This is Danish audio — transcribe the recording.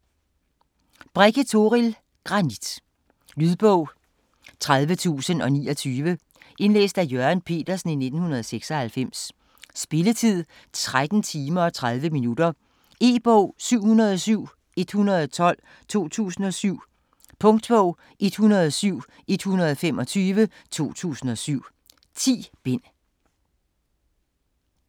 Brekke, Toril: Granit Lydbog 30029 Indlæst af Jørgen Petersen, 1996. Spilletid: 13 timer, 30 minutter. E-bog 707112 2007. Punktbog 107125 2007. 10 bind.